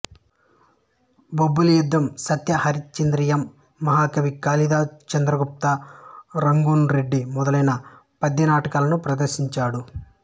Bobbili Yuddham Satya Harishchandriyam Mahakavi Kalidasu Chandragupta Rangoon rowdy మొదలైన పద్య నాటకాలను ప్రదర్శించాడు